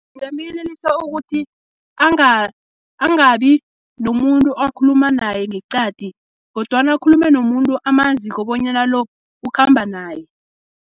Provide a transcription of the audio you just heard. Ngingamyelelisa ukuthi angabinomuntu akhuluma naye ngeqadi, kodwana ukhulume nomuntu amaziko bonyana lo, ukhamba naye.